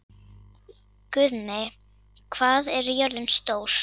Guðmey, hvað er jörðin stór?